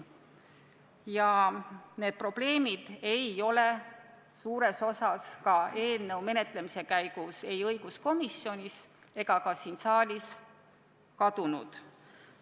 Need probleemid ei ole suures osas ka eelnõu menetlemise käigus õiguskomisjonis ega siin saalis kadunud.